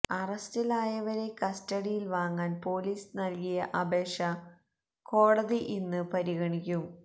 അറസ്റ്റിലായവരെ കസ്റ്റഡിയില് വാങ്ങാന് പൊലീസ് നല്കിയ അപേക്ഷ കോടതി ഇന്ന് പരിഗണിക്കും